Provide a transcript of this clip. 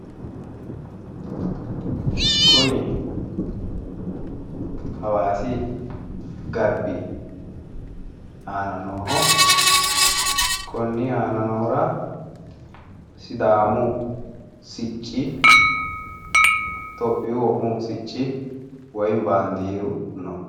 kuni hawaasi garbi aana nooho konni aana noohura sidaamu sicci itiyopiyu wo'mmu sicci woyi baandiiru no.